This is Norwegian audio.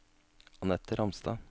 Anette Ramstad